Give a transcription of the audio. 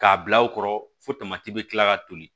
K'a bila aw kɔrɔ fo tamati bɛ kila ka toli